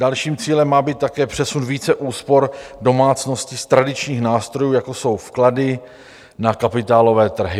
Dalším cílem má být také přesun více úspor domácností z tradičních nástrojů, jako jsou vklady, na kapitálové trhy.